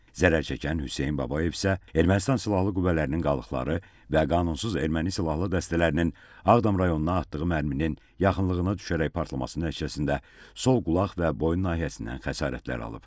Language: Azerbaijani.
Zərərçəkən Hüseyn Babayev isə Ermənistan silahlı qüvvələrinin qalıqları və qanunsuz erməni silahlı dəstələrinin Ağdam rayonuna atdığı mərminin yaxınlığına düşərək partlaması nəticəsində sol qulaq və boyun nahiyəsindən xəsarətlər alıb.